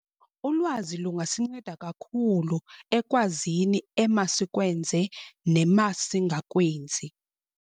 Ulwazi lungasinceda kakhulu ekwazini emasikwenze nemasingakwenzi.